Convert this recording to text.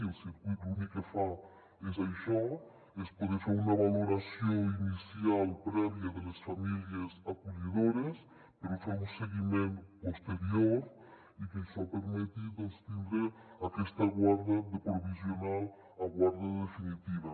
i el circuit l’únic que fa és això és poder fer una valoració inicial prèvia de les famílies acollidores per fer un seguiment posterior i que això permeti doncs tindre aquesta guarda de provisional a guarda definitiva